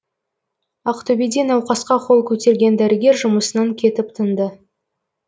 ақтөбеде науқасқа қол көтерген дәрігер жұмысынан кетіп тынды